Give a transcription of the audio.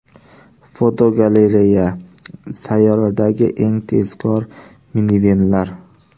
Fotogalereya: Sayyoradagi eng tezkor minivenlar.